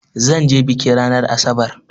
Zan je biki ranar asabar.